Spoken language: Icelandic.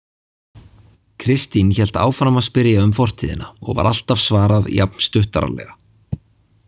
Kristín hélt áfram að spyrja um fortíðina og var alltaf svarað jafn stuttaralega.